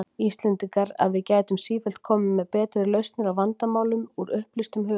Íslendingar, að við gætum sífellt komið með betri lausnir á vandamálum, úr upplýstum hugum.